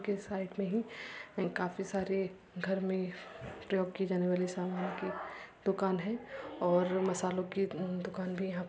के साइड में ही काफी अ सारे घर में प्रयोग की जाने वाली सामान की दुकान है और मसालों की दुकान भी यहाँ --